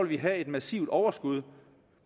vi have et massivt overskud